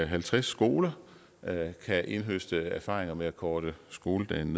halvtreds skoler kan indhøste erfaringer med at korte skoledagen